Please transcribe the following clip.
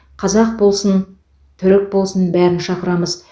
қазақ болсын түрік болсын бәрін шақырамыз